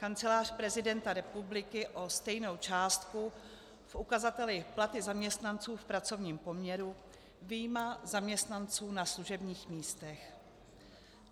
Kancelář prezidenta republiky o stejnou částku v ukazateli platy zaměstnanců v pracovním poměru, vyjma zaměstnanců na služebních místech.